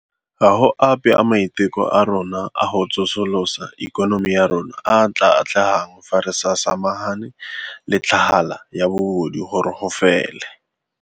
"Ga go ape a maiteko a rona a go tsosolosa ikonomi ya rona a a tla atlegang fa re sa samagane le tlhagala ya bobodu gore go fele."